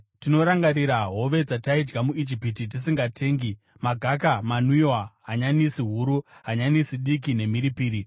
Tinorangarira hove dzataidya muIjipiti tisingatengi; magaka, manwiwa, hanyanisi huru, hanyanisi diki nemhiripiri.